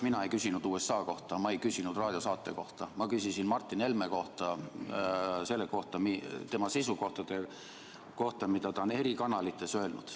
Mina ei küsinud USA kohta, ma ei küsinud raadiosaate kohta, ma küsisin Martin Helme kohta, tema seisukohtade kohta, mida ta on eri kanalites öelnud.